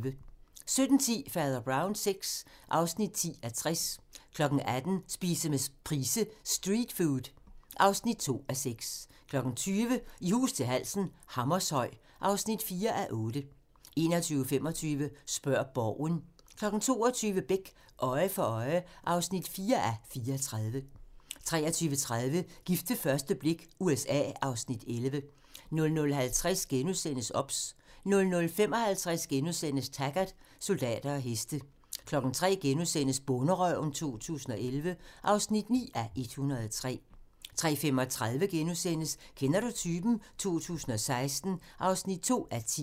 17:10: Fader Brown VI (10:60) 18:00: Spise med Price: "Street food" (2:6) 20:00: I hus til halsen - Hammershøj (4:8) 21:25: Spørg Borgen 22:00: Beck: Øje for øje (4:34) 23:30: Gift ved første blik - USA (Afs. 11) 00:50: OBS * 00:55: Taggart: Soldater og heste * 03:00: Bonderøven 2011 (9:103)* 03:35: Kender du typen? 2016 (2:10)*